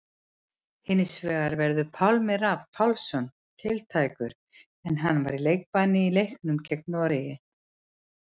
Hinsvegar verður Pálmi Rafn Pálmason tiltækur en hann var í leikbanni í leiknum gegn Noregi.